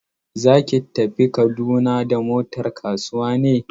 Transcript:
Za ki tafi Kaduna da motar kasuwa ne?